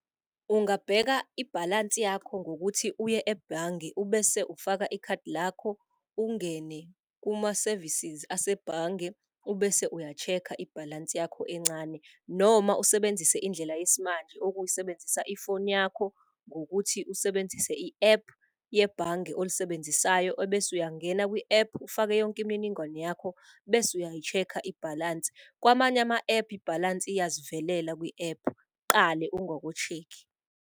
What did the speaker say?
Ungabheka ibhalansi yakho ngokuthi uye ebhange ubese ufaka ikhadi lakho, ungene kuma-services asebhange ubese uya-check-a ibhalansi yakho encane. Noma usebenzise indlela yesimanje okuwukusebenzisa ifoni yakho ngokuthi usebenzise i-app yebhange olisebenzisayo obese uyangena kwi-app ufake yonke imininingwane yakho, bese uyayi-check-a ibhalansi. Kwamanye ama-app ibhalansi iyazivelela kwi-app qale ungako-check-i.